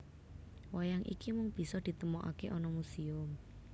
Wayang iki mung bisa ditemokakè ana musèum